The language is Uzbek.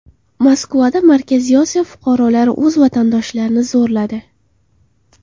Moskvada Markaziy Osiyo fuqarolari o‘z vatandoshlarini zo‘rladi.